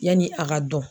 Yanni a ka dɔn